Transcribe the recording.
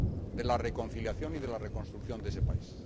de la reconciliación y de la reconstrucción de ese país.